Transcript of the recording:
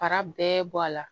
Fara bɛɛ bɔ a la